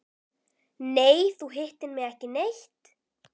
Nei, þú hittir mig ekki neitt.